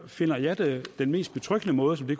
finder at den mest betryggende måde det